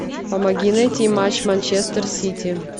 помоги найти матч манчестер сити